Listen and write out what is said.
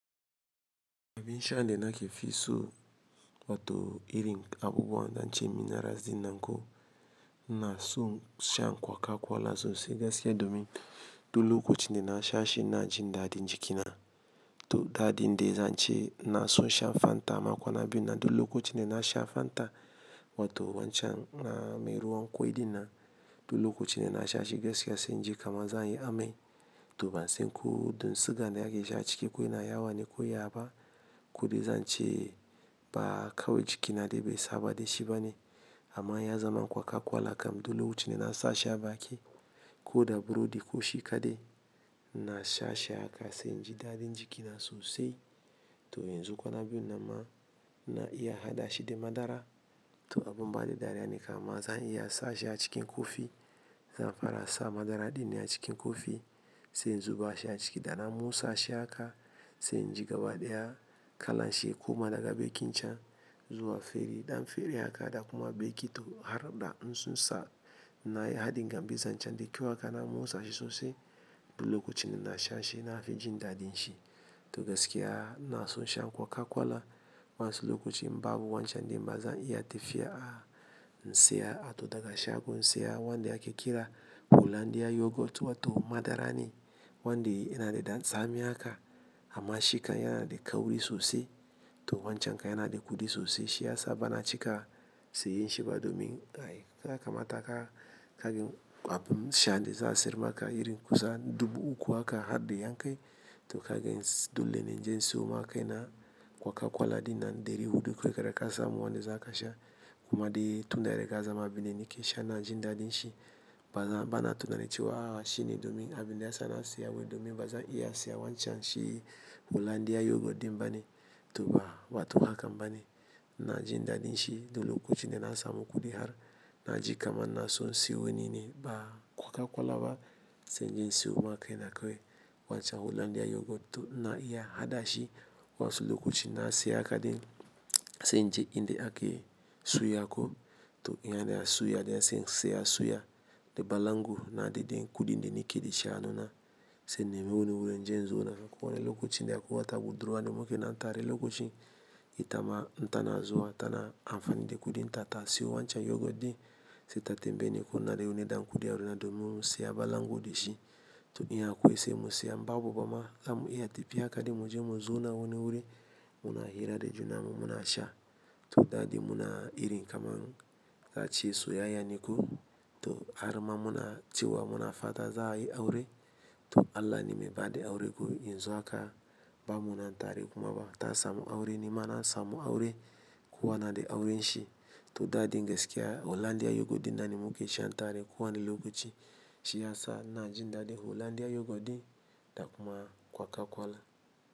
Abin sha da na ke fi so wato irin abubuwan da an ce minerals din nan ko ina so shan coca cola sosai. Gaskiya domin du lokacin da na sha shi ina jin daɗin jikina. To daɗin de zan ce na so shan Fanta amma kwana biyu nan duk lokacin da na sha Fanta wato wancan mai ruwan ƙwai ɗin nan duk lokacin da na sha shi gaskiya sai in ji kaman zan yi amai. To ban san ko don siga ne ake sha ciki ko yana yawa ne ko yaba. Kodai zan ce ba kawai jikina de bai saba da shi bane amma ya zama coca cola kam duk lokacin dana sa shi a baki. Ko da burodi ko shi kadai ina sha shi haka sai in ji daɗin jikina sosai. To yanzu kwana biyun nan ma ina iya haɗa shi da madara. To abun ba ni dariya ne kamar zan iya sa sha cikin kofi, zan fara sa madara din a cikin kofi sai in zuba shi a ciki da na motsa shi haka sai in ji gaba ɗaya kalanshi ya koma daga bakin can zuwa fere, ɗan fere haka da kuma beki to har da in sun sa na yi haɗin gambizan cen de kawai na motsa sa shi sosai duk lokacin dana sha shi nafi jin dadin shi to gaskiya ina so shan coca cola wasu lokuta babu wancan din ba zan iya tafiya in siyo a to daga shago in siya wanda ake kira Hollandia Yogurt wato madara ne wanda yana da ɗan tsami haka amma shi kan yana da kauri sosai to wancan kan yana da kuɗi sosai shi ya sa bana cika siyan shi ba domin ai yakamata ka kagan abin sha da za a siyar maka haka irin kusan dubu uku haka har da yan kai to kagen dole ne inje in siyo ma kai na coca cola din nan dari huɗu kawai da ka samu wanda za ka sha. Kuma dai tunda dai ka zama abunda nake sha ina jin daɗin shi. Ba za-- bana tunanin cewa a shi ne domin abin da ya sa na siya wai domin ba zan iya siya wancan shi Hollandia Yogurt din bane to ba wato ba hakan bane ina jin daɗin shi duk lokacin da na samu kuɗi har na ji kaman ina so siyo wani ne ba coca cola ba sai inje in siyo ma kai na kawai wancan Hollandia Yogurt to ina iya haɗa shi wasu lokaci in na siya haka din sai in je inda ake suya ko to in yana suya de sai in siya suya da balangu na daidai kuɗin da nake dashi a hannuna. Sai in nemi wani wurin inji in zauna ko wani lokacin akwai wani budurwa da muke nan tare lokaci ita ma in tana zuwa ta na amfani da kuɗin ta ta siyo wancan Yogurt din sai ta tambaye ni ko ina da wani ɗan kuɗi a hannuna domin mu siya balango da shi to in akwai sai mu siya in babu ba ma zamu iya tafiya haka din mu je mu zauna wani wuri muna hira da junanmu muna sha to daɗi muna irin kamar za ace soyayya ne ko to har ma muna cewa muna fa ta za a yi aure to Allah ne mai bada aure ko yanzu haka ba mu nan tare kuma ba ta samu aure ni ma na samu aure kowa na da auren shi to da din gaskiya Hollandia Yogurt din nan ne mu ke sha tare kowa ni lokaci shiyasa ina jin daɗin Hollandia Yogurt din da kuma coca cola.